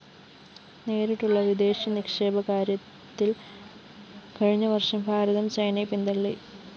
നേരിട്ടുള്ള വിദേശ നിക്ഷേപക്കാര്യത്തില്‍ കഴിഞ്ഞ വര്‍ഷം ഭാരതം ചൈനയെ പിന്തള്ളി